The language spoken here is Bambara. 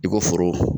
I ko foro